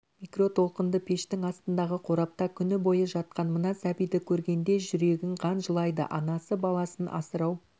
микротолқынды пештің астындағы қорапта күні бойы жатқан мына сәбиді көргенде жүрегің қан жылайды анасы баласын асырау